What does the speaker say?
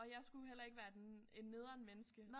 Og jeg skulle jo heller ikke være et en nederen menneske